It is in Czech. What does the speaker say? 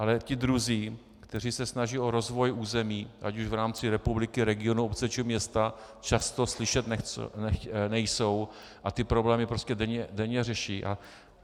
Ale ti druzí, kteří se snaží o rozvoj území ať už v rámci republiky, regionu, obce, či města, často slyšet nejsou a ty problémy prostě denně řeší.